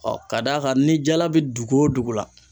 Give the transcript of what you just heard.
ka d'a kan ni jala bi dugu o dugu la.